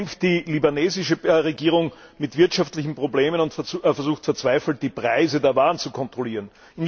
So kämpft die libanesische Regierung mit wirtschaftlichen Problemen und versucht verzweifelt, die Preise der Waren zu kontrollieren.